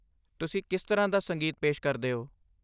ਤੁਸੀਂ ਕਿਸ ਤਰ੍ਹਾਂ ਦਾ ਸੰਗੀਤ ਪੇਸ਼ ਕਰਦੇ ਹੋ?